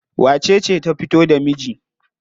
Wacece ta fito da miji?